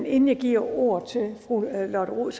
men inden jeg giver ordet til fru lotte rod